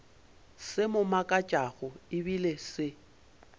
se mo makatšago ebile se